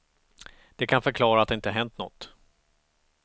Det kan förklara att det inte har hänt något.